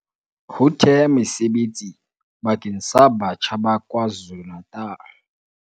Ho thea mesebetsi bakeng sa batjha ba KwaZulu-Natal